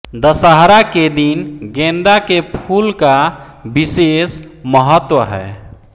दशहरा के दिन गेंदा के फूल का विशेष महत्व है